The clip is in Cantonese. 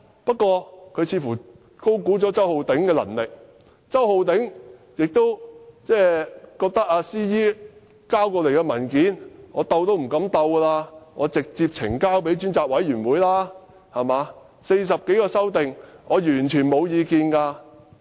不過，他似乎高估了周浩鼎議員的能力，又或許周浩鼎議員覺得 ，CE 交來的文件連碰都不敢碰，便直接呈交專責委員會，他對於40多項修訂完全沒有意見。